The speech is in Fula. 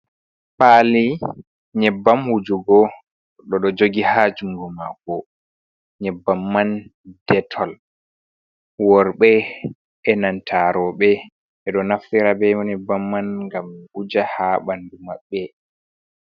Paali nyebbam wujugo o ɗo jogi haa junngo mako, nyebbam man detol, worɓe e nanta rowɓe ɓe ɗo naftira be nyebbam man ngam wuja haa banndu maɓɓe.